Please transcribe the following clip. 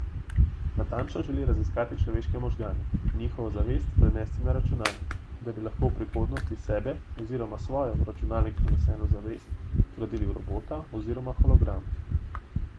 Natančno želi raziskati človeške možgane in njihovo zavest prenesti na računalnik, da bi lahko v prihodnosti sebe oziroma svojo v računalnik preneseno zavest vgradil v robota oziroma hologram.